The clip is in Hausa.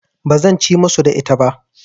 Ba zan ci musu da ita ba.